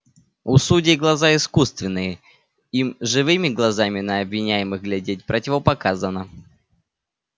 у судей глаза искусственные им живыми глазами на обвиняемых глядеть противопоказано